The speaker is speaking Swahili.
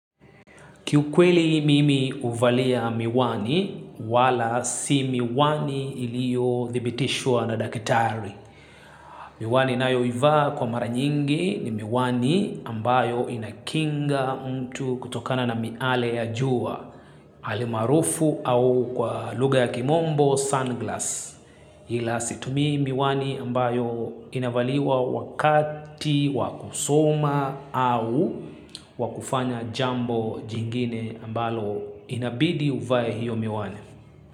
Kiukweli mimi huvalia miwani wala si miwani iliyo thibitishwa na daktari. Miwani nayoivaa kwa mara nyingi ni miwani ambayo inakinga mtu kutokana na miale ya jua. Alimaarufu au kwa lugha ya kimombo, sunglass. Ila situmii miwani ambayo inavaliwa wakati wa kusoma au wa kufanya jambo jingine ambalo inabidi uvae hiyo miwani.